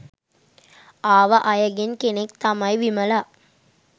ආව අයගෙන් කෙනෙක් තමයි විමලා.